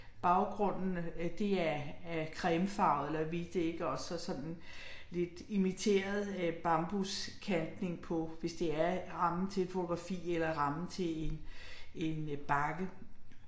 Baggrunden øh det er er cremefarvet eller hvidt ikke også og sådan lidt imiteret æh bambuskantning på hvis det er rammen til et fotografi eller rammen til en en bakke